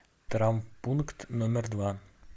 травмпункт номер два